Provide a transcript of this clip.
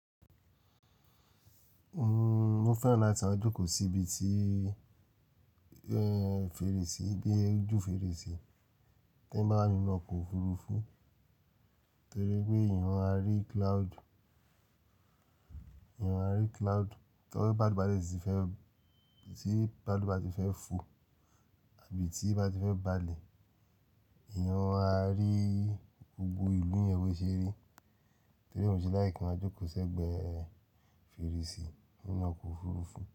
Mo fẹ́ràn láti máa jókòó sí ibi tí, eh, fèrèsí bí ojú fèrèsí tí ń bá ní inú ọkọ̀ òfurufú to je pé eeyan á rí cloud, eeyan á rí cloud. Tí ọba bàlù bà dè ti fẹ́, tí bàlù bà ti fẹ́ fò àbí tí bá ti fẹ́ balẹ̀ eeyan á rí gbogbo ìlú yẹn bó ṣe rí torí ó ń ṣe like ki máa jókòó sẹ́gbẹ̀ẹ́ fèrèsí nínú ọkọ̀ òfurufú.